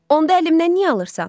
Onda əlimdən niyə alırsan?